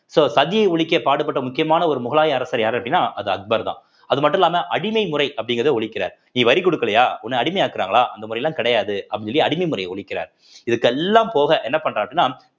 so சதியை ஒழிக்க பாடுபட்ட முக்கியமான ஒரு முகலாய அரசர் யாரு அப்படின்னா அது அக்பர்தான் அது மட்டும் இல்லாம அடிமை முறை அப்படிங்கிறத ஒழிக்கிறார் நீ வரி கொடுக்கலையா உன்னை அடிமையாக்குறாங்களா அந்த முறையெல்லாம் கிடையாது அப்படின்னு சொல்லி அடிமை முறைய ஒழிக்கிறார் இதுக்கெல்லாம் போக என்ன பண்றாரு அப்படின்னா